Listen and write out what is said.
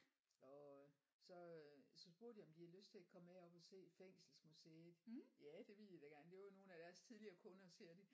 Og øh så øh så spurgte jeg om de havde lyst til at komme med op og se fængselsmuseet ja det ville de da gerne det var nogle af deres tidligere kunder siger de